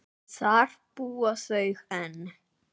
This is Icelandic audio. Þar búa þau enn.